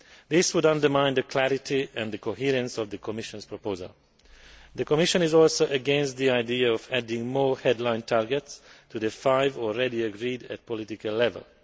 This would undermine the clarity and the coherence of the Commission's proposal. The Commission is also against the idea of adding more headline targets to the five already agreed at political level.